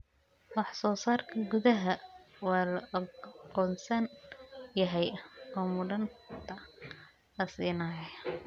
Wax soo saarka gudaha waa la aqoonsan yahay oo mudnaanta la siinayaa.